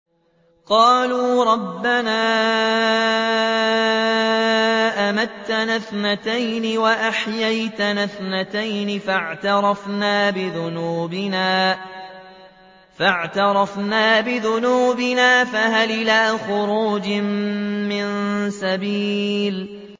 قَالُوا رَبَّنَا أَمَتَّنَا اثْنَتَيْنِ وَأَحْيَيْتَنَا اثْنَتَيْنِ فَاعْتَرَفْنَا بِذُنُوبِنَا فَهَلْ إِلَىٰ خُرُوجٍ مِّن سَبِيلٍ